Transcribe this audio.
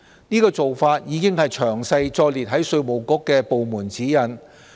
這個做法已詳細載列於稅務局的部門指引。